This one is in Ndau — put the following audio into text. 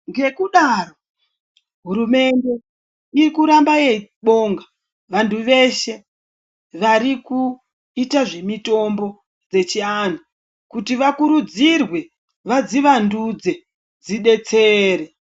Ngekudaro hurumende irikuramba yeibonga vantu veshe varikuite zvemitombo dzechianhu kuti vakurudzirwe vadzivandudze dzidetsere.